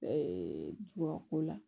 tubabu ko la